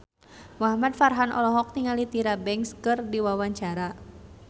Muhamad Farhan olohok ningali Tyra Banks keur diwawancara